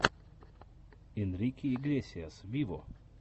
энрике иглесиас виво